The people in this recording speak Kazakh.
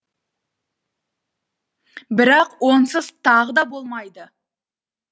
бірақ онсыз тағы да болмайды